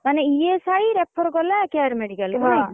ମାନେ ESI refer କଲା care medical ନାଇଁ ।